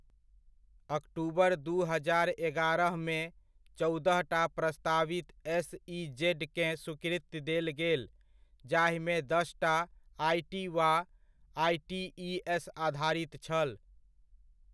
अक्टूबर दू हजार एगारहमे, चौदहटा प्रस्तावित एस.इ.जेड.केँ स्वीकृति देल गेल, जाहिमे दसटा आइ.टी. वा आइ.टी.इ.एस. आधारित छल।